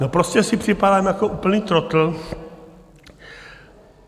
No, prostě si připadám jako úplný trotl.